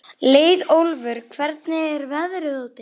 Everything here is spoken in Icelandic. Leiðólfur, hvernig er veðrið úti?